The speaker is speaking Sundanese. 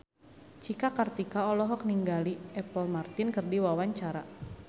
Cika Kartika olohok ningali Apple Martin keur diwawancara